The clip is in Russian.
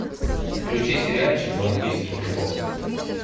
включи сериальчик галактический футбол